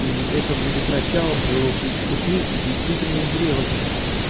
и это будет началом твоего пути к действительной зрелости